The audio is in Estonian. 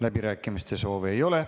Läbirääkimiste soovi ei ole.